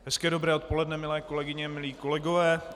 Hezké dobré odpoledne milé kolegyně, milí kolegové.